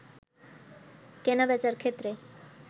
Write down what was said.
কেনা-বেচার ক্ষেত্রে